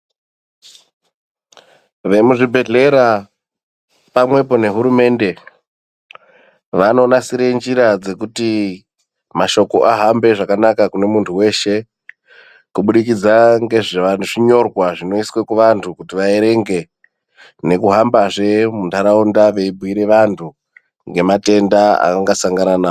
Vemuzvibhedhlera pamwepo nehurumende vanonasire njira dzekutimAshoko ahambe zvakanaka kune muntu weshe kubudikidza ngezvazvinyorwa zvinoiswe kuvantu kuti vaerenge nekuhamba zve muntaraunda veibhuire vantu ngematenda avangasangane na.